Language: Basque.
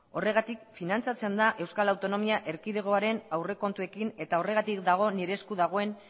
horregatik finantzatzen da euskal autonomia erkidegoaren aurrekontuekin eta horregatik dago nire esku dagoen